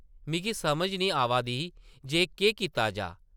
मिगी समझ निं ही आवा दी जे केह् कीता जाऽ ?